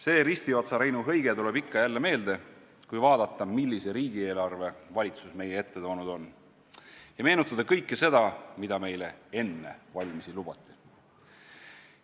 " See Ristiotsa Reinu hõige tuleb ikka jälle meelde, kui vaadata, millise riigieelarve valitsus meie ette toonud on, ja meenutada kõike seda, mida meile enne valimisi lubati.